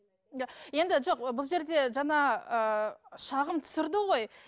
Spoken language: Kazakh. енді жоқ бұл жерде жаңа ыыы шағым түсірді ғой